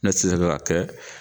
Ne ka kɛ.